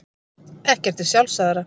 Ekkert er sjálfsagðara.